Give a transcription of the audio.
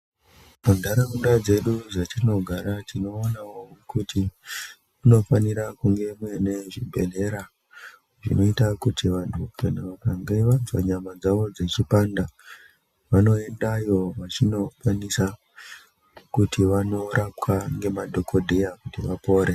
Munharaunda dzedu dzatinogara tinoonawo kuti kunofanire kunge kunechibhehlera zvinoita kuti vanhu kana vakange vanzwa nyama dzawo dzichipanda vanoendayo vachindokwanisa kuti vanorapwa ngemadhokodheya kuti vapore.